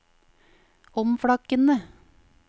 omflakkende